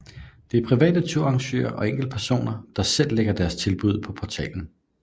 Det er private turarrangører og enkeltpersoner der selv lægger deres tilbud ud på portalen